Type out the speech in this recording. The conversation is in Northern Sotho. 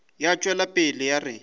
ya tšwela pele ya re